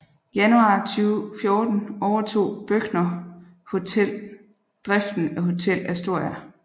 Januar 2014 overtog Brøchner Hotels driften af Hotel Astoria